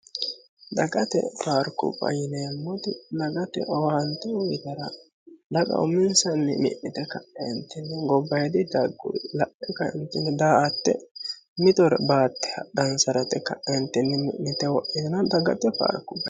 dagate paarkubba yineemmoti dagate owaante uyiitara daga uminsanni gobbayyidinni dagguri la'e ka'eentinni daa'atte mitore baatte hadhansara yite kae mi'nite wodhitino dagate paarkubaati.